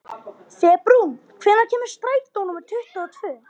Febrún, hvenær kemur strætó númer tuttugu og tvö?